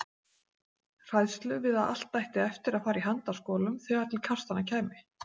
Hræðslu við að allt ætti eftir að fara í handaskolum þegar til kastanna kæmi.